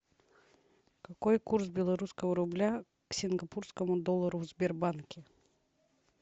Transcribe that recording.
какой курс белорусского рубля к сингапурскому доллару в сбербанке